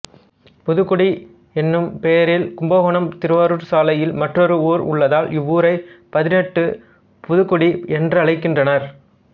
புதுக்குடி என்னும் பெயரில் கும்பகோணம்திருவாரூர் சாலையில் மற்றொரு ஊர் உள்ளதால் இவ்வூரை பதினெட்டு புதுக்குடி என்றழைக்கின்றனர்